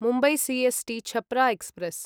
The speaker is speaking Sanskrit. Mumbai C S T Chhapra express